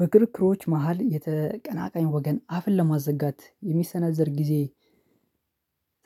በክርክሮች መሃል የተቀናቃኝ ወገን አፍን ለማዘጋት የሚሰናዘር ጊዜ